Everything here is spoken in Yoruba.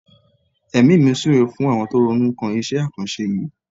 Èmi mi súre fún àwọn tó ronú kan iṣẹ́ àkànṣe yìí.